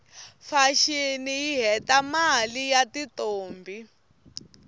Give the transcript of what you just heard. fashini yihhetamaie yatintombi